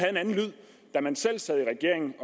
er man selv sad i regering